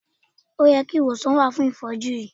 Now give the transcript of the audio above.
O yẹ kí ìwòsàn wà fún ìfọ́jú yìí.